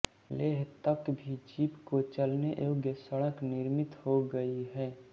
लेह तक भी जीप के चलने योग्य सड़क निर्मित हो गई है